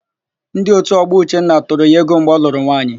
Ndị òtù ọgbọ Uchenna tụrụ ya ego mgbe ọ lụrụ nwaanyị.